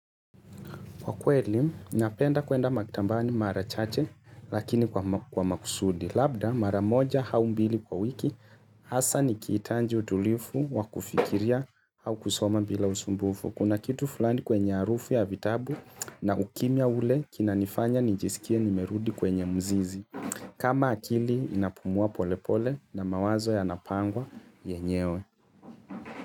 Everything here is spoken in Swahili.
Kwa kweli, napenda kuenda makitambani mara chache lakini kwa makusudi. Labda mara moja au mbili kwa wiki hasa nikitanji utulifu wa kufikiria au kusoma bila usumbufu. Kuna kitu fulani kwenye arufu ya vitabu na ukimya ule kinanifanya nijisikie nimerudi kwenye mzizi. Kama akili inapumua polepole na mawazo yanapangwa yenyewe.